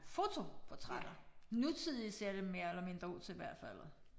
Fotoportrætter. Nutidige ser det mere eller ud til hvert faldet